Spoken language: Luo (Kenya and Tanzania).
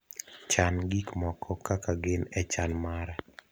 chan gik moko kaka gin e chan mara